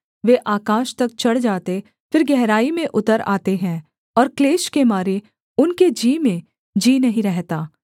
वे आकाश तक चढ़ जाते फिर गहराई में उतर आते हैं और क्लेश के मारे उनके जी में जी नहीं रहता